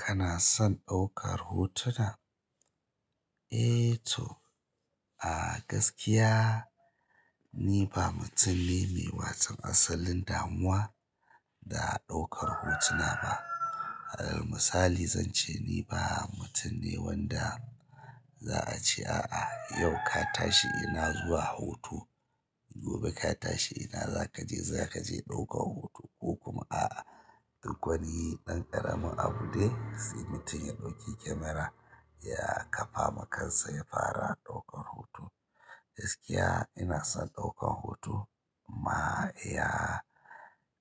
Kana son ɗaukar hotuna? Eh to a gaskiya ni ba mutum ne mai watau asalin damuwa da ɗaukar hotuna ba. Alal misali zan ce ni ba mutum ne wanda za'a ce a'a yau ka tashi ina zuwa hoto, gobe ka tashi ina za ka je, za ka je ɗaukan hoto ko kuma a'a duk wanii ɗan ƙaramin abu dai sai mutum ya ɗauki kamara ya ƙafa makansa ya fara ɗaukan hoto. Gaskiya ina son ɗaukan hoto amma iya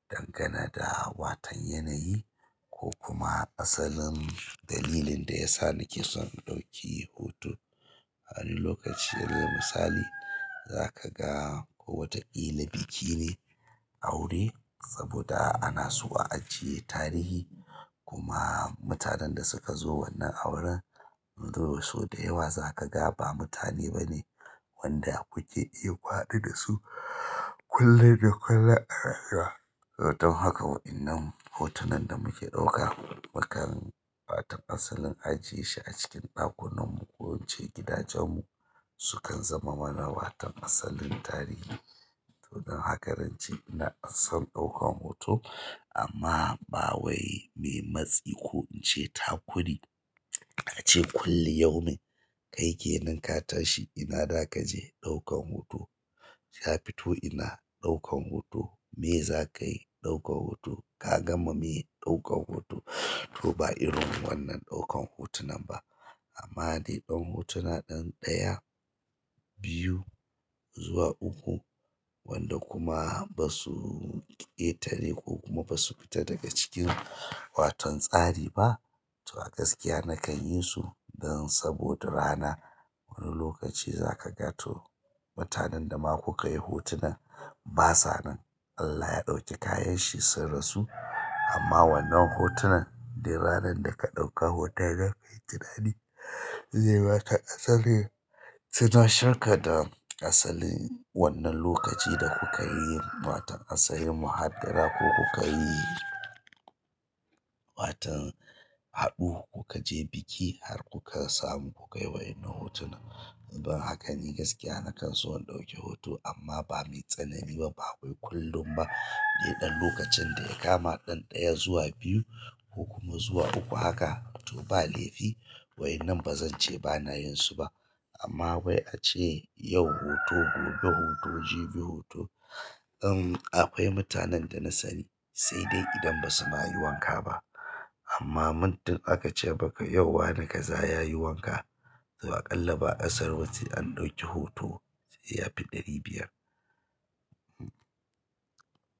dangane da watau yanayi ko kuma asalin dalilin da ya sa nake son in ɗauki hoto. Wani lokaci alal misali za ka ga ko wataƙila biki ne, aure saboda ana so a ajiye tarihi kuma mutanen da suka zo wannan auren, sau da yawa za ka ga ba mutane bane wanda kuke iya ku haɗu da su. Kullun da kullun ana haɗuwa. To don haka waɗannan hotunan da muke ɗauka, mukam watau asalin ajiye shi a cikin ɗakunan mu, ko in ce gidajen mu su kan zamo mana watau asalin tarihi. To don haka zance ina son ɗaukan hoto amma ba wai mai matsi ko in ce takuri. Ace kulli yaumin, kai ke nan ka tashi ina za ka je, ɗaukan hoto. Ka fito ina, ɗaukan hoto. Me za ka yi, ɗaukan hoto. Ka gama me, ɗaukan hoto. To ba irin wannan ɗaukan hotunan ba. Amma dai dan hotuna ɗan ɗaya, biyu, zuwa uku. Wanda kuma basu ƙetare kokuma basu fita daga cikin watau tsari ba. To a gaskiya nakan yi su dan saboda rana wani lokaci za ka ga to mutanen da ma kuka yi hotunan ba sa nan. Allah ya ɗauki kayan shi sun rasu. Amma wannan hotunan duk ranar da ka ɗauka hoton zaka yi tunani, zai maka asali tunasheka da asalin wannan lokaci da kuka yi watau asalin muhaddara ko kuka yi. Watau haɗu ku ka je biki har kuka samu ku kayi wa innan hotuna. Don hakan ni gaskiya nakan so in ɗauki hoto amma ba mai tsanani ba, ba wai kullum ba, dai ɗan lokacin da ya kama ɗin ɗaya zuwa biyu, ko kuma zuwa uku haka. To ba laifi wai innan ba zan ce ba na yin su ba amma wai ace yau hoto, gobe hoto, jibi hoto. In akwai mutanen da na sani sai dai idan ba suma yi wanka ba. Amma muddin aka ce maka yau wani ka za ya yi wanka. To aƙalla ba kasaru ba, sai an ɗauki hoto da ya fi ɗari biyar.